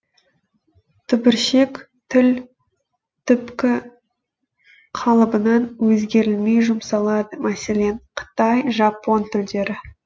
түбіршек тіл түпкі қалыбынан өзгерілмей жұмсалады мәселен қытай жапон тілдері